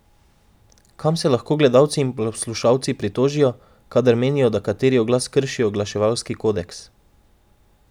Kam se lahko gledalci in poslušalci pritožijo, kadar menijo, da kateri oglas krši oglaševalski kodeks?